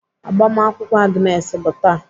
Agbamakwụkwọ Agnes bụ taa.